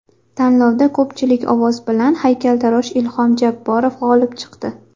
Tanlovda ko‘pchilik ovoz bilan haykaltarosh Ilhom Jabborov g‘olib chiqdi.